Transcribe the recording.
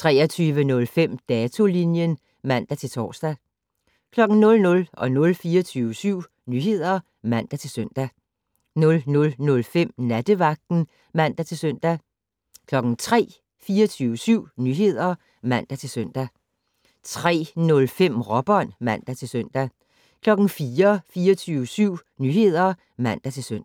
23:05: Datolinjen (man-tor) 00:00: 24syv Nyheder (man-søn) 00:05: Nattevagten (man-søn) 03:00: 24syv Nyheder (man-søn) 03:05: Råbånd (man-søn) 04:00: 24syv Nyheder (man-søn)